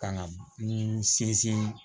Ka na n sinsin